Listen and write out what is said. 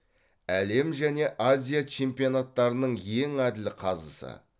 әлем және азия чемпионаттарының ең әділ қазысы